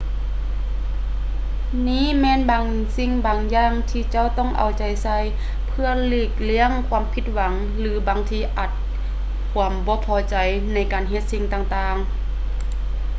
ນີ້ແມ່ນບາງສິ່ງບາງຢ່າງທີເຈົ້າຕ້ອງເອົາໃຈໃສ່ ເພື່ອຫຼີກລ້ຽງຄວາມຜິດຫວັງ ຫຼື ບາງທີອາດຄວາມບໍ່ພໍໃຈໃນການເຮັດສິ່ງຕ່າງໆ